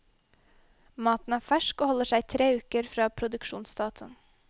Maten er fersk, og holder seg i tre uker fra produksjonsdatoen.